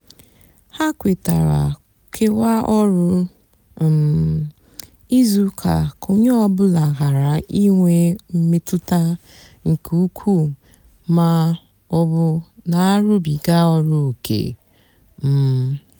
hà kwetara kewaa ọrụ um ízú úkà kà ónyé ọ bụlà ghárá ínwé mmetụta nkè ukwú mà ọ bụ nà-àrụbiga ọrụ óké. um